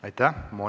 Aitäh!